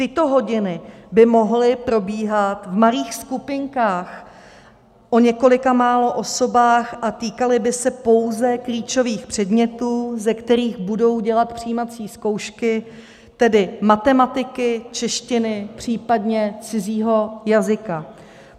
Tyto hodiny by mohly probíhat v malých skupinkách o několika málo osobách a týkaly by se pouze klíčových předmětů, ze kterých budou dělat přijímací zkoušky, tedy matematiky, češtiny, případně cizího jazyka.